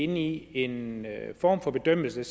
inde i en form for bedømmelse